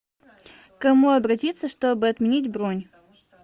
к кому обратиться чтобы отменить бронь